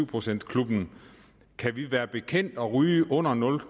procent klubben kan vi være bekendt at ryge under nul